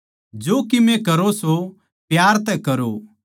जो कीमे करो सो प्यार तै करो